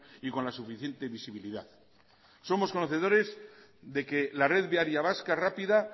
y con la suficiente visibilidad somos conocedores de que la red viaria vasca rápida